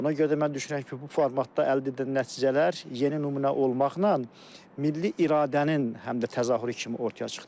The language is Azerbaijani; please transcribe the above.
Ona görə də mən düşünürəm ki, bu formatda əldə edilən nəticələr yeni nümunə olmaqla milli iradənin həm də təzahürü kimi ortaya çıxdı.